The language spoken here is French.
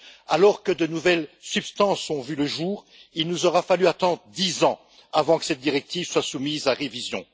Alors que de nouvelles substances ont vu le jour, il nous aura fallu attendre dix ans avant que cette directive soit soumise à révision.